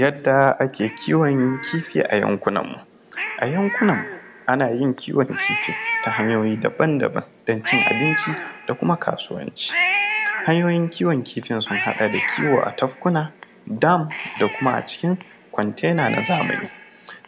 Yadda ake kiwon kifi a yankunan mu, ana yin kiwon kifi ta hanyoyi daban-daban don cin abinci da kuma kasuwanci, hanyoyin kiwon kifi sun haɗa kiwo a tafkuna, dam da kuma a cikin contener na zamani,